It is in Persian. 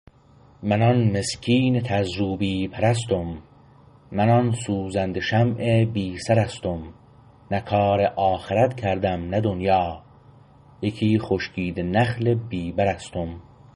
من آن مسکین تذرو بی پر استم من آن سوزنده شمع بی سرستم نه کار آخرت کردم نه دنیا یکی خشکیده نخل بی بر استم